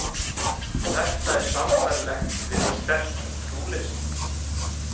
Þetta er sambærilegt við sterkt trúleysi.